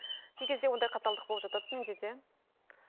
кей кезде ондай қаталдық болып жатады менде де